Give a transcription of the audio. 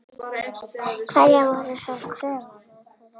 Hverjar voru svo kröfur þeirra?